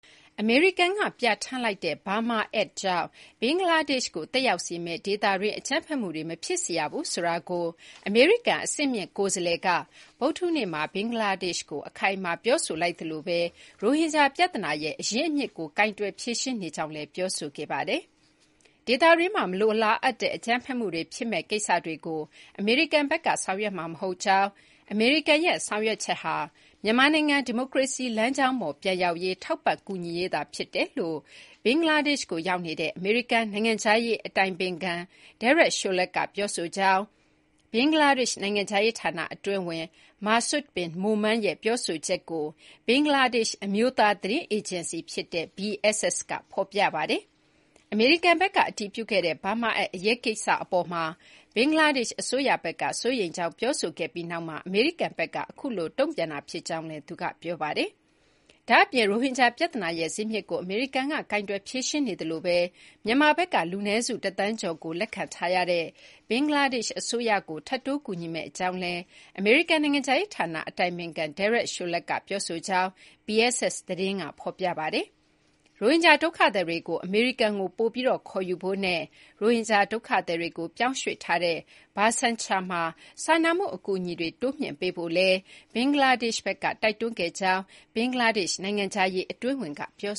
အမေရိကန်ကပြဌာန်းလိုက်တဲ့ Burma Act ကြောင့် ဘင်္ဂလားဒေ့ရှ်ကို သက်ရောက်စေမယ့် ဒေသတွင်းအကြမ်းဖက်မှုတွေ မဖြစ်စေရဘူးဆိုတာကို အမေရိကန် အဆင့်မြင့်ကိုယ်စားလှယ်က ဗုဒ္ဓဟူးနေ့မှာ ဘင်္ဂလားဒေ့ရှ်ကို အခိုင်အမာ ပြောဆိုလိုက်သလိုပဲ ရိုဟင်ဂျာပြဿနာရဲ့အရင်းအမြစ်ကို ကိုင်တွယ်ဖြေရှင်းနေကြောင်းလည်း ပြောဆိုခဲ့ပါတယ်။ ဒေသတွင်းမှာ မလိုလားအပ်တဲ့အကြမ်းဖက်မှုတွေ ဖြစ်မယ့်ကိစ္စတွေကို အမေရိကန်ဘက်က ဆောင်ရွက်မှာမဟုတ်ကြောင်း၊ အမေရိကန်ရဲ့ဆောင်ရွက်ချက်ဟာ မြန်မာနိုင်ငံ ဒီမိုကရေစီလမ်းကြောင်းပေါ်ပြန်ရောက်ရေး ထောက်ပံ့ကူညီရေးသာဖြစ်ကြောင်း ဘင်္ဂလားဒေ့ရှ်ကိုရောက်နေတဲ့ အမေရိကန်နိုင်ငံခြားရေးအတိုင်ပင်ခံ Derek Chollet က ပြောဆိုကြောင်း ဘင်္ဂလားဒေ့ရှ် နိုင်ငံခြားရေးဌာနအတွင်းဝန် Masud Bin Momen ရဲ့ ပြောဆိုချက်ကို ဘင်္ဂလားဒေ့ရှ် အမျိုးသား သတင်းအေဂျင်စီ BSS က သတင်းဖော်ပြပါတယ်။ အမေရိကန်ဘက်က အတည်ပြုခဲ့တဲ့ Burma Act အရေးကိစ္စအပေါ်မှာ ဘင်္ဂလားဒေ့ရှ်အစိုးရဘက်က စိုးရိမ်ကြောင်းပြောခဲ့ပြီးနောက်မှာ အမေရိကန်ဘက်က အခုလို တုံ့ပြန်တာဖြစ်ကြောင်းလည်း သူက ပြောပါတယ်။ ဒါ့ပြင် ရိုဟင်ဂျာပြဿနာရဲ့ဇစ်မြစ်ကို အမေရိကန်က ကိုင်တွယ်ဖြေရှင်းနေသလိုပဲ မြန်မာဘက်က လူနည်းစုတသန်းကျော်ကိုလက်ခံထားရတဲ့ ဘင်္ဂလားဒေ့ရှ်အစိုးရကို ထပ်တိုးကူညီမယ့်အကြောင်းလည်း အမေရိကန်နိုင်ငံခြားရေးဌာန အတိုင်ပင်ခံ Derek Chollet က ပြောဆိုကြောင်းလည်း BSS သတင်းက ဖော်ပြပါတယ်။ ရိုဟင်ဂျာဒုက္ခသည်တွေကို အမေရိကန်ကို ပိုပြီးခေါ်ယူဖို့နဲ့ ရိုဟင်ဂျာ ဒုက္ခသည်တွေကို ပြောင်းရွှေ့ထားတဲ့ Bhashanchar မှာ စာနာမှု အကူအညီတွေ တိုးမြှင့်ပေးဖို့လည်း ဘင်္ဂလားဒေ့ရှ်ဘက်က တိုက်တွန်းခဲ့ကြောင်း ဘင်္ဂလားဒေ့ရှ် နိုင်ငံခြားရေး အတွင်းဝန်က ပြော